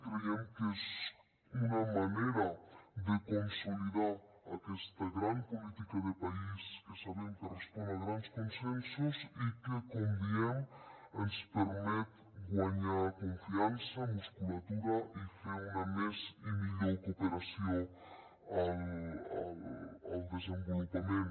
creiem que és una manera de consolidar aquesta gran política de país que sabem que respon a grans consensos i que com diem ens permet guanyar confiança musculatura i fer més i millor cooperació al desenvolupament